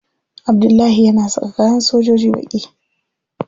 Abdullahi yana saka kayan sojoji baƙi.